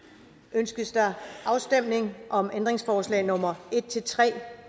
ønskes der afstemning om ændringsforslag nummer en tre